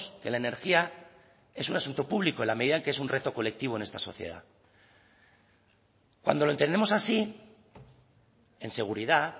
que la energía es un asunto público en la medida en que es un reto colectivo en esta sociedad cuando lo entendemos así en seguridad